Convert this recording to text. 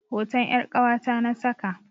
Hoton 'yar ƙawata na saka.